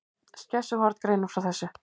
Skessuhorn greinir frá þessu